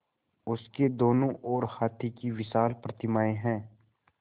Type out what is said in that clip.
उसके दोनों ओर हाथी की विशाल प्रतिमाएँ हैं